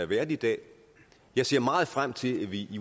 været i dag jeg ser meget frem til at vi